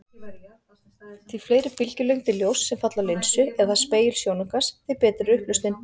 Því fleiri bylgjulengdir ljóss sem falla á linsu eða spegil sjónaukans, því betri er upplausnin.